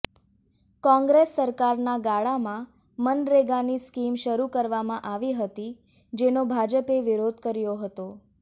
કોંગ્રેસ સરકારના ગાળામાં મનરેગાની સ્કીમ શરૂ કરવામાં આવી હતી જેનો ભાજપે વિરોધ કર્યો હતો